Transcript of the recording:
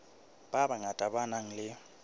ba bangata ba nang le